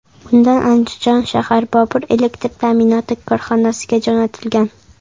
Undan Andijon shahar ‘Bobur’ elektr ta’minoti korxonasiga jo‘natilgan.